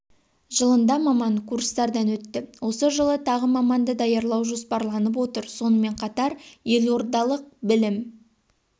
жылында маман курстардан өтті осы жылы тағы маманды даярлау жоспарланып отыр сонымен қатар елордалық білім